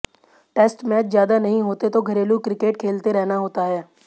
test match ज्यादा नहीं होते तो घरेलू क्रिकेट खेलते रहना होता है